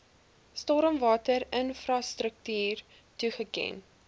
stormwater infrastruktuur toegeken